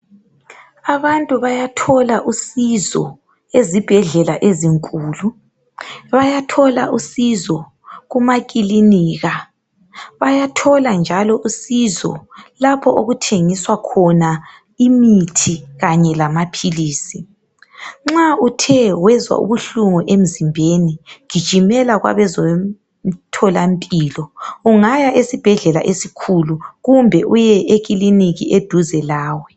Abantu bayathola usizo ezibhedlela ezinkulu, bayathola usizo kumakilinika, bayathola njalo usizo lapho okuthengiswa khona imithi kanye lamaphilizi. Nxa uthe wezwa ubuhlungu emzimbeni gijimela kwabezomtholampilo, ungaya esibhedlela esikhulu kumbe uye ekilinika eduze lawe.